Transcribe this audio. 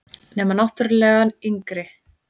Nema náttúrlega yngri.